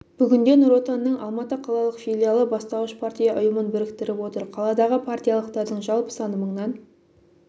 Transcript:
бүгінде нұр отанның алматы қалалық филиалы бастауыш партия ұйымын біріктіріп отыр қаладағы партиялықтардың жалпы саны мыңнан